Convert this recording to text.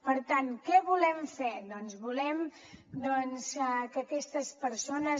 per tant què volem fer doncs volem que aquestes persones